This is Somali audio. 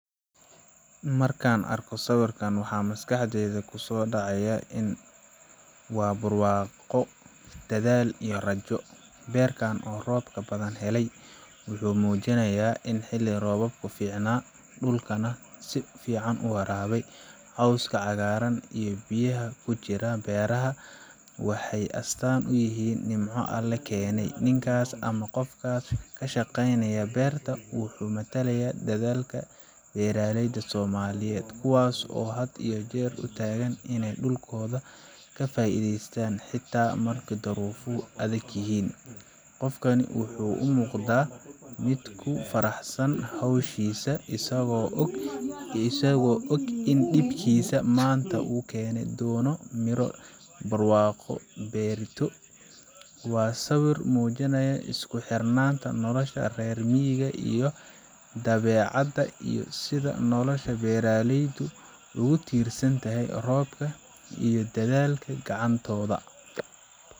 Markaan arko sawirkan, waxa maskaxdayda kusoo dhacaya in waa barwaaqo, dadaal, iyo rajo. Beerkan oo roob badan helay wuxuu muujinayaa in xilli roobaadku fiicnaa, dhulkuna si fiican u waraabey. Cawska cagaaran iyo biyaha ku jira beeraha waxay astaan u yihiin nimco Alle keenay. Ninkaas ama qofka ka shaqaynaya beerta wuxuu matalayaa dadaalka beeraleyda Soomaaliyeed kuwaasoo had iyo jeer u taagan inay dhulkooda ka faaiidaystaan, xitaa marka duruufuhu adag yihiin. Qofkani wuxuu u muuqdaa mid ku faraxsan hawshiisa, isagoo og in dhibkiisa maanta uu keeni doono miro barwaaqo ah berrito. Waa sawir muujinaya isku xirnaanta nolosha reer miyiga iyo dabeecadda, iyo sida nolosha beeraleydu ugu tiirsan tahay roobka iyo dadaalka gacantooda.